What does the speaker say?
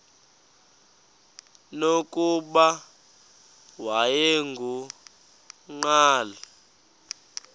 nokuba wayengu nqal